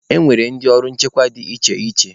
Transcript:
E nwere ndị ọrụ nchekwa dị iche iche.